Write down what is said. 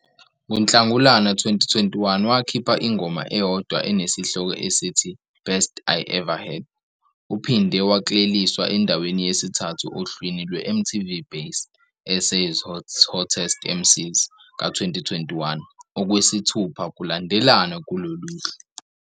NgoNhlangulana 2021, wakhipha ingoma eyodwa enesihloko esithi "Best I Ever Had". Uphinde wakleliswa endaweni yesithathu ohlwini lwe-MTV Base- SA's Hottest MCs ka-2021, okwesithupha kulandelana kulolu hlu.